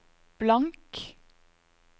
blank